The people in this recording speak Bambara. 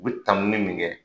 U bɛ tanuni mun kɛ